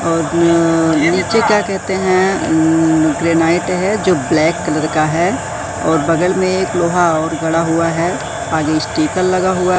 और नीचे क्या कहते हैं अं ग्रेनाइट है जो ब्लैक कलर का है और बगल में एक लोहा और गड़ा हुआ हैं आगे स्टीकर लगा हुआ --